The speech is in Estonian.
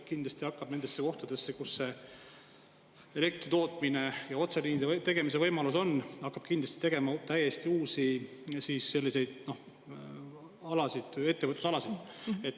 Kindlasti hakkab nendesse kohtadesse, kus elektri tootmine ja otseliinide tegemise võimalus on, tekkima täiesti uusi ettevõtlusalasid.